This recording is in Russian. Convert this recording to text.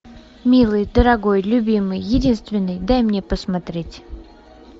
милый дорогой любимый единственный дай мне посмотреть